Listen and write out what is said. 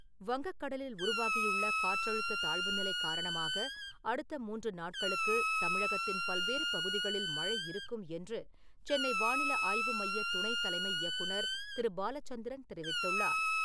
வங்கக் கடலில் உருவாகியுள்ள காற்றழுத்த தாழ்வுநிலை காரணமாக, அடுத்த மூன்று நாட்களுக்குத் தமிழகத்தின் பல்வேறு பகுதிகளில் மழை இருக்கும் என்று சென்னை வானிலை ஆய்வு மையத் துணை தலைமை இயக்குநர் திரு பாலச்சந்திரன் தெரிவித்துள்ளார்.